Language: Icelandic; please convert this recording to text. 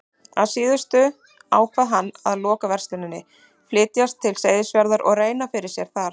Að síðustu ákvað hann að loka versluninni, flytjast til Seyðisfjarðar og reyna fyrir sér þar.